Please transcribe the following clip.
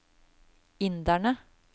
inderne